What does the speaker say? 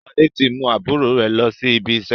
Sade tí mú àbúrò rẹ lọ sí ibi iṣẹ́